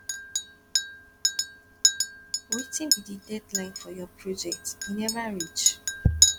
wetin be di deadline for your project e never reach